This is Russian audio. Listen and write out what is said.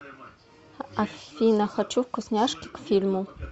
афина хочу вкусняшки к фильму